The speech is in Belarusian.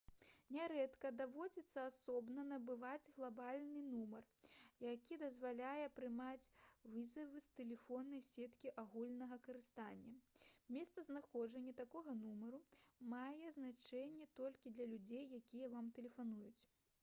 нярэдка даводзіцца асобна набываць глабальны нумар які дазваляе прымаць вызавы з тэлефоннай сеткі агульнага карыстання месцазнаходжанне такога нумару мае значэнне толькі для людзей якія вам тэлефануюць